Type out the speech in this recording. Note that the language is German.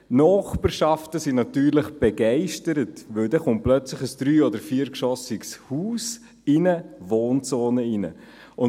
Die Nachbarschaft ist natürlich begeistert, weil plötzlich ein drei- oder viergeschossiges Haus in eine Wohnzone hineinkommt.